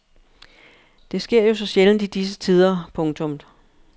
Det sker jo så sjældent i disse tider. punktum